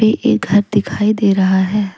एक घर दिखाई दे रहा है।